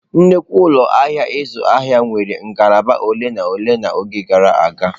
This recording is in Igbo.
Nnukwu ụlọ ahịa ịzụ ahịa nwere ngalaba ole na ole n'oge gara aga.